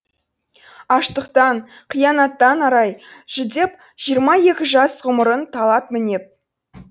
аштықтан қиянаттан арай жүдеп жиырма екі жас ғұмырын талап мінеп